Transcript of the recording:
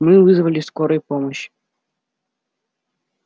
мы вызвали скорую помощь